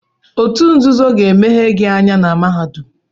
Otu nzuzo ga emeghe gị anya na mahadum.